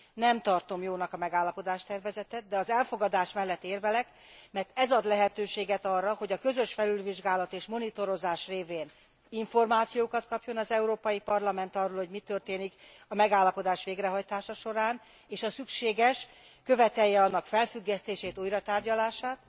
Nem tartom jónak a megállapodás tervezetet, de az elfogadás mellett érvelek, mert ez ad lehetőséget arra, hogy a közös felülvizsgálat és monitorozás révén információkat kapjon az Európai Parlament arról, hogy mi történik a megállapodás végrehajtása során, és ha szükséges, követelje annak felfüggesztését, újratárgyalását.